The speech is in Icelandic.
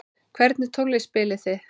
Hvernig tónlist spilið þið?